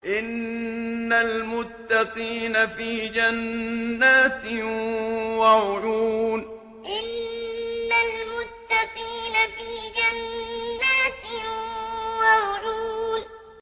إِنَّ الْمُتَّقِينَ فِي جَنَّاتٍ وَعُيُونٍ إِنَّ الْمُتَّقِينَ فِي جَنَّاتٍ وَعُيُونٍ